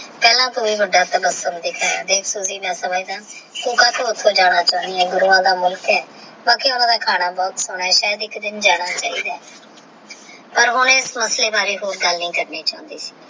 ਪੀਲਾ ਟੋਹ ਵੀ ਵੱਡਾ ਗੁਰੂਆ ਦਾ ਮੁਲਕ ਆਹ ਬਾਕੀ ਓਹਨਾ ਦਾ ਖਣਾ ਭੂਤ ਸੋਹਨਾ ਹੈ ਸ਼ਾਇਦ ਇਕ ਦਿਨ ਜਾਣਾ ਚਾਹੀਦਾ ਆਹ ਪਰ ਓਹਨੇ ਇਸ ਮਸਲੇ ਬਾਰੇ ਹੀਰ ਗੱਲ ਨੀ ਚਾਹੁੰਦੀ ਸੀ